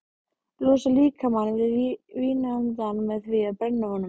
Losar líkamann við vínandann með því að brenna honum.